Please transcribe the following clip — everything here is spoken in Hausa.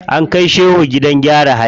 An kai shehu gidan gyara hali.